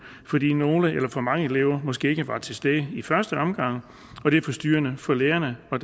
fordi nogle eller for mange elever måske ikke var til stede i første omgang og det er forstyrrende for lærerne og